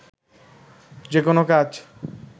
যেকোনো কাজ